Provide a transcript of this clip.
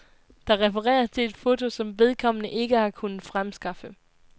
Der refereres til et foto, som vedkommende ikke har kunnet fremskaffe.